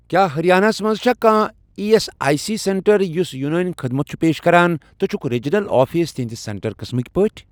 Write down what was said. کیٛاہ ہرٔیانہ ہس مَنٛز چھا کانٛہہ E S I C centre یُس یوٗنٲنۍ خدمت چھُ پیش کران تہٕ چھکھ ریٖجنَل آفِس تِہنٛدِ سینٹر قٕسمٕکۍ پٲٹھۍ؟